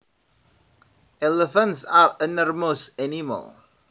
Elephants are enormous animals